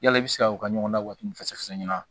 Yala i bɛ se ka u ka ɲɔgɔndɛw fɛsɛ